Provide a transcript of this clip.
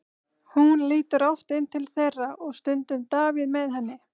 Hún lítur oft inn til þeirra og stundum Davíð með henni.